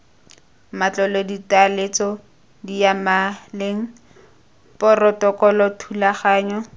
matlole ditaletso diyamaleng porotokolo thulaganyo